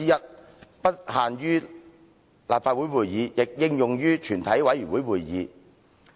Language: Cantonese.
此規定不應限於立法會會議，亦應用於全體委員會會議。